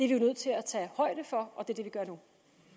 jo nødt til at tage højde for og det er det vi gør nu